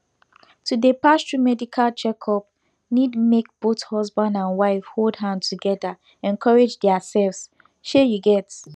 to dey pass through medical checkup need make both husband and wife hold hand together encourage theirselves shey you get